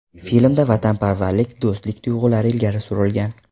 Filmda vatanparvarlik, do‘stlik tuyg‘ulari ilgari surilgan.